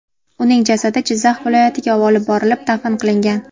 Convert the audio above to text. Uning jasadi Jizzax viloyatiga olib borilib, dafn qilingan.